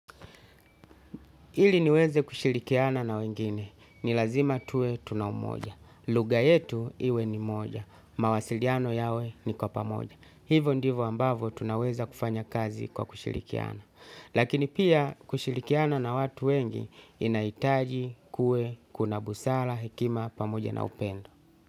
Ili niweze kushirikiana na wengine, ni lazima tuwe tuna umoja. Lugha yetu iwe ni moja. Mawasiliano yawe ni kwa pamoja. Hivo ndivo ambavo tunaweza kufanya kazi kwa kushirikiana. Lakini pia kushirikiana na watu wengi inahitaji kue kuna busara, hekima, pamoja na upendo.